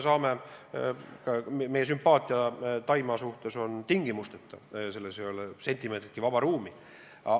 Meie sümpaatia Taimaa vastu on tingimusteta, selles ei ole sentimeetritki vaba ruumi.